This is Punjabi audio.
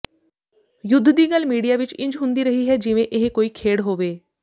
ਯੁੱਧ ਦੀ ਗੱਲ ਮੀਡੀਆ ਵਿੱਚ ਇੰਜ ਹੁੰਦੀ ਰਹੀ ਹੈ ਜਿਵੇਂ ਇਹ ਕੋਈ ਖੇਡ ਹੋਵੇ